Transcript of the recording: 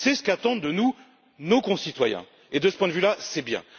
C'est ce qu'attendent de nous nos concitoyens et, de ce point de vue, c'est bien.